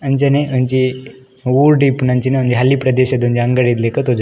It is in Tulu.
ಅಂಚನೆ ಒಂಜಿ ಊರುಡ್ ಇಪ್ಪುನಂಚಿನ ಒಂಜಿ ಹಳ್ಲಿ ಪ್ರದೇಶದ ಒಂಜಿ ಅಂಗಡಿ ಲಕ ತೋಜುಂಡು.